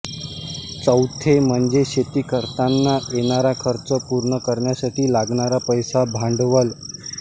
चौथे म्हणजे शेती करतांना येणारा खर्च पूर्ण करण्यासाठी लागणारा पैसा भांडवल